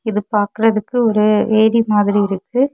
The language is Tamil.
இது பாக்குறதுக்கு ஒரு ஏரி மாதிரி இருக்கு.